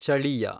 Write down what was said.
ಚಳಿಯ